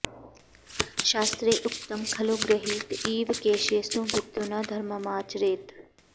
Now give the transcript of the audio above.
शास्त्रे उक्तं खलु गृहीत इव केशेषु मृत्युना धर्ममाचरेत्